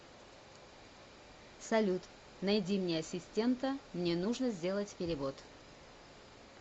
салют найди мне ассистента мне нужно сделать перевод